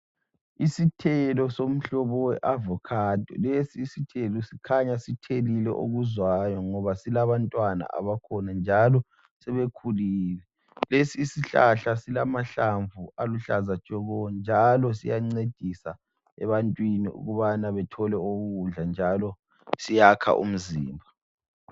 Isithelo somhlobo we avokhado lesi isithelo kukhanya sithelile okuzwayo ngoba silabantwana abakhulu njalo sebekhulile, lesi isihlahla silamahlamvu aluhlaza tshoko njalo siyancedisa ebantwini ukubana bethole okokudla njalo siyakha umzimba.